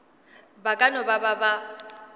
ba ka no ba ba